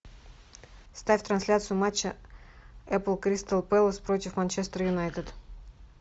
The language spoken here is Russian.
ставь трансляцию матча апл кристал пэлас против манчестер юнайтед